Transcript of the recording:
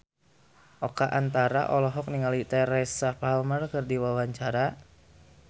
Oka Antara olohok ningali Teresa Palmer keur diwawancara